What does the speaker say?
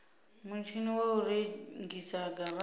mutshini wa u rengisa garata